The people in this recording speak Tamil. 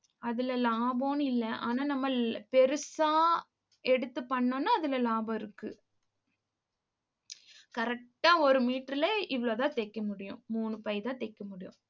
அதுல, லாபம்னு இல்லை ஆனா நம்மள் பெருசா எடுத்து பண்ணோம்னா அதுல லாபம் இருக்கு. correct ஆ ஒரு meter ல இவ்வளவுதான் தைக்க முடியும். மூணு பைதான் தைக்க முடியும்